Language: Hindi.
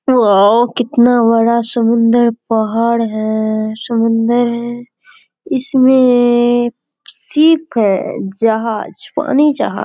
औउ कितना बड़ा सुंदर पहाड़ है समुन्द्र है इसमें शिप है जहाज पानी जहाज।